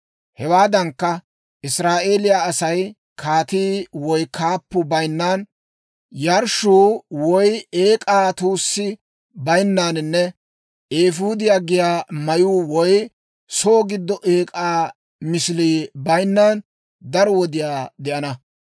Hewaadankka, Israa'eeliyaa Asay kaatii woy kaappuu bayinnan, yarshshuu woy eek'aa tuussi baynnaaninne eefuudiyaa giyaa mayuu woy soo giddo eek'aa misilii bayinnan daro wodiyaa de'ana.